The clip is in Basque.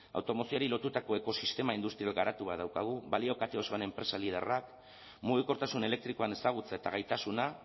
automozioari lotutako ekosistema industrial garatu beharra daukagu balio kate osoan enpresa liderrak mugikortasun elektrikoan ezagutza eta gaitasuna